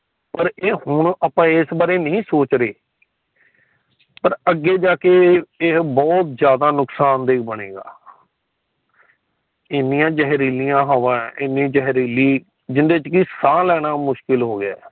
ਪਰ ਏ ਹੁਣ ਆਪਾ ਇਸ ਬਾਰੇ ਨਹੀਂ ਸੋਚ ਰਹੇ ਪਰ ਅਗੇ ਜਾਕੇ ਇਹ ਬਹੁਤ ਜਾਂਦਾ ਨੁਕਸਾਨ ਦੇ ਬਣੇਗਾ। ਏਨੀਆਂ ਜਰੀਲੀਆਂ ਹਵਾ ਹੈ ਏਨੇ ਜਹਰੀਲੀ ਜਿੰਦੇ ਚ ਕਿ ਸਾਹ ਲੈਣਾ ਮੁਸ਼ਕਿਲ ਹੋ ਗਿਆ ਆ।